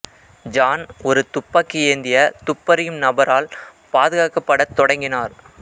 John ஒரு துப்பாக்கி ஏந்திய துப்பறியும் நபரால் பாதுகாக்கப்படத் தொடங்கினார்